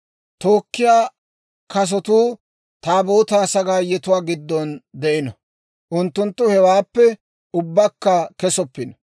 Tookkiyaa kasotuu Taabootaa sagaayetuwaa giddon de'ino; unttunttu hewaappe ubbakka kesoppino.